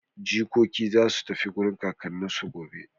Jikoki za su tafi wurin kakanninsu gobe.